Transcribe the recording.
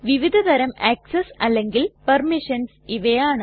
വിവിധ തരം ആക്സസ് അല്ലെങ്കിൽ പെർമിഷൻസ് ഇവയാണ്